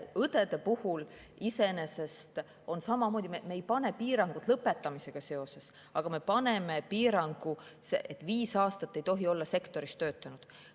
Õdede puhul on iseenesest samamoodi, me ei pane piirangut lõpetamisega seoses, aga me paneme piirangu, et viis aastat ei tohi olla sektoris töötanud.